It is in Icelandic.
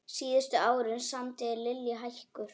Síðustu árin samdi Lillý hækur.